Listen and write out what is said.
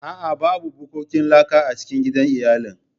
A'a, babu bukkokin laka a cikin gidan iyalina.